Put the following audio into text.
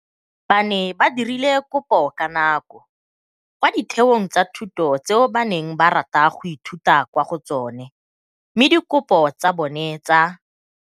Ba ne ba dirile kopo ka nako kwa ditheong tsa thuto tseo ba neng ba rata go ithuta kwa go tsona mme dikopo tsa bona tsa